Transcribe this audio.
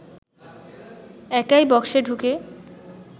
একাই বক্সে ঢুকে